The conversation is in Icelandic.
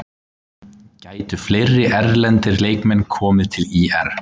Gætu fleiri erlendir leikmenn komið til ÍR?